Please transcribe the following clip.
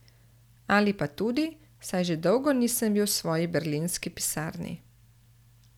Ali pa tudi, saj že dolgo nisem bil v svoji berlinski pisarni.